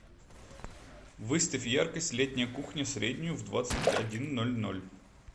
выставь яркость летняя кухня среднюю в двадцать один ноль ноль